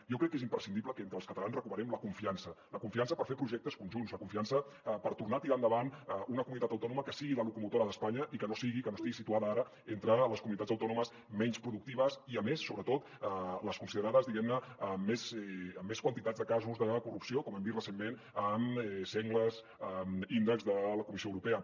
jo crec que és imprescindible que entre els catalans recuperem la confiança la confiança per fer projectes conjunts la confiança per tornar a tirar endavant una comunitat autònoma que sigui la locomotora d’espanya i que no sigui que no estigui situada ara entre les comunitats autònomes menys productives i a més sobretot les considerades diguem ne amb més quantitat de casos de corrupció com hem vist recentment en sengles índexs de la comissió europea